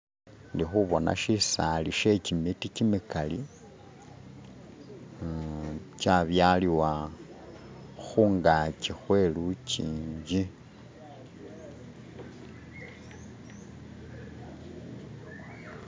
Indi khubona shisaali she gimiti gyimikali gyabyaliwa khungachi khwelujinji